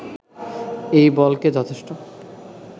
এই বলকে যথেষ্ঠ